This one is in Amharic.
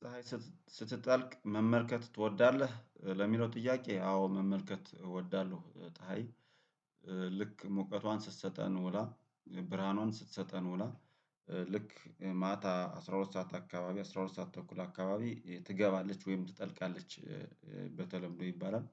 ፀሀይ ስትጠልቅ መመልከት ትወዳለህ? ለሚለው ጥያቄ አዎ መመልከት እወዳለሁ። ፀሀይ ልክ ሙቀቷን ስትሰጠን ውላ ብርሃኑን ስትሰጠን ውላ ልክ ማታ አስራ ሁለት ሰዓት አካባቢ አስራ ሁለት ሰዓት ተኩል አካባቢ ትገባለች ወይም ትጠልቃለች በተለምዶ ይባላል፤